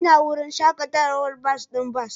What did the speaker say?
Ina wurin shakatawar bas ɗin bas